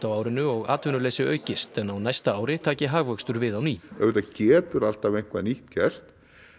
á árinu og atvinnuleysi aukist en á næsta ári taki hagvöxtur við á ný auðvitað getur alltaf eitthvað nýtt gerst